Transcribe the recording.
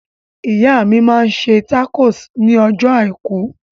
Ìyá mi máa ń ṣe tákò ní ọjọ́ àìkú.